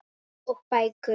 Og bækur.